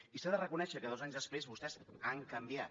i s’ha de reconèixer que dos anys després vostès han canviat